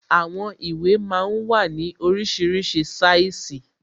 Àwọn ìwé máa ń wà ní oríṣiríṣi sáìsì